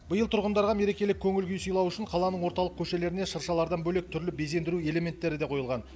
биыл тұрғындарға мерекелік көңіл күй сыйлау үшін қаланың орталық көшелеріне шыршалардан бөлек түрлі безендіру элементтері де қойылған